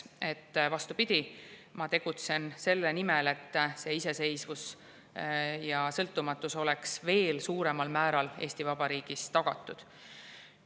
Seega, vastupidi, ma tegutsen selle nimel, et see iseseisvus ja sõltumatus oleks veel suuremal määral Eesti Vabariigis tagatud.